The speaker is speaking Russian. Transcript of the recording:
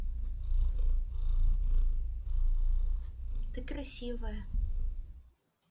ты красивая